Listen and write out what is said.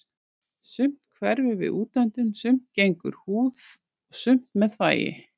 Sumt hverfur við útöndun, sumt gegnum húð og sumt með þvagi.